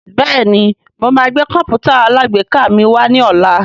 Bẹ́ẹ̀ni mo máa gbé Kọ̀m̀pútà alágbèéká mi wá ní ọ̀la